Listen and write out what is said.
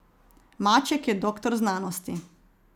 Maček je doktor znanosti.